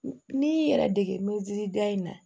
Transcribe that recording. N'i y'i yɛrɛ dege da in na